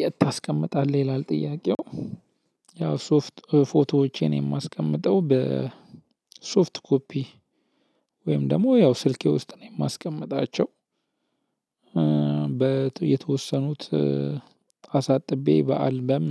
የት ታስቀምጣለህ ይላል ጥያቄው? ያው ሶፍት ፎቶዎቼን የማስቀምጠው በሶፍት ኮፒ ወይም ደግሞ ያው ስልኬ ውስጥ ነው የማስቀምጣቸው። በየተወሰኑት አሳጥቤ በአልበም